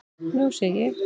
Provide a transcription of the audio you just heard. Nú sé ég.